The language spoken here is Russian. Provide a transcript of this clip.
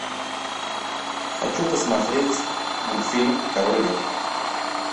хочу посмотреть мультфильм король лев